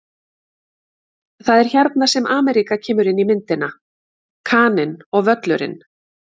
Það er hérna sem Ameríka kemur inn í myndina: Kaninn og Völlurinn.